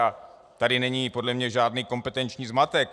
A tady není podle mě žádný kompetenční zmatek.